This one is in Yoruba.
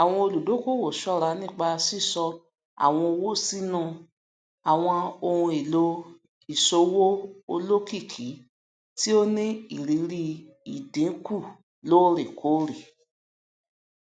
àwọn olùdókòwò ṣọra nípa sísọ àwọn owó sínú um àwọn ohun èlò ìṣòwò olókìkí tí ó ní irírí ìdínkù loorekoore